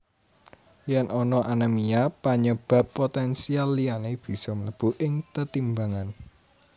Yen ana anemia panyebab potensial liyane bisa mlebu ing tetimbangan